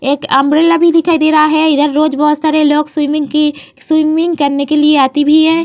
एक अम्ब्रेला भी दिखाई दे रहा है। इधर रोज बोहोत सारे लोग स्विमिंग की स्विमिंग करने के लिए आती भी हैं।